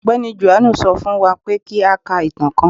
Ọgbẹni Jòhánù sọ fún wá pé kí à ká ìtàn kán